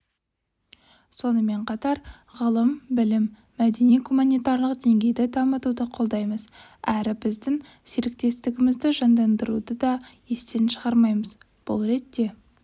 сонымен қатар ғылым-білім мәдени-гуманитарлық деңгейді дамытуды қолдаймыз әрі біздің серіктестігімізді жандандыруды да естен шығармаймыз бұл ретте